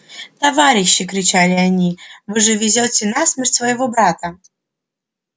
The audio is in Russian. товарищи кричали они вы же везёте на смерть своего брата